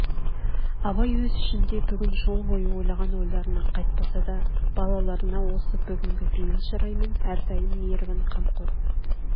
абай өзі ішінде бүгін жол бойы ойлаған ойларынан қайтпаса да балаларына осы бүгінгі бейіл шыраймен әрдайым мейірбан қамқор